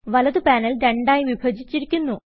വലത് പാനൽ രണ്ടായി വിഭജിച്ചിരിക്കുന്നു